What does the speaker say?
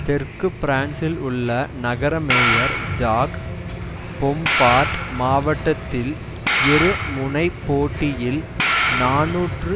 தெற்கு பிரான்சில் உள்ள நகர மேயர் ஜாக் பொம்பார்ட் மாவட்டத்தில் இரு முனைப்போட்டியில் நாநூற்று